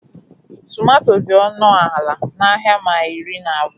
Tomato dị ọnụ ala n'ahịa maili iri na abụọ.